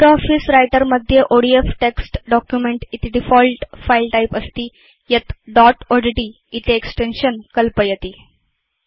LibreOffice Writer मध्ये ODF text document इति default file type अस्ति यत् दोत् odtइति एक्सटेन्शन् कल्पयति